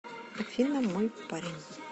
афина мой парень